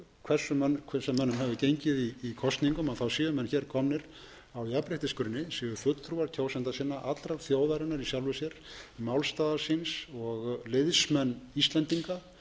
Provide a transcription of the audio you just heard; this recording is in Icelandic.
hversu mönnum hefur gengið í kosningum séu menn hér komnir á jafnréttisgrunni séu fulltrúar kjósenda sinna allrar þjóðarinnar í sjálfu sér málstaðar síns og liðsmenn íslendinga